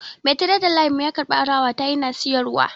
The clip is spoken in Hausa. Mai tiredar layin mu ya karbi alawa ta yana siyarwa